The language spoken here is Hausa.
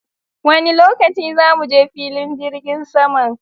Wani lokaci za muje filin jirgin saman?